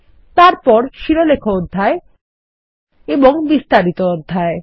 তারপর শিরোলেখ অধ্যায় এবং বিস্তারিত অধ্যায়